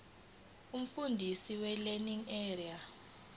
umfundisi welearning area